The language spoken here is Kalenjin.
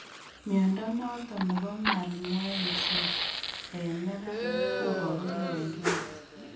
Mnyondo noton nebo malmoense en neranik koboru gee en lungs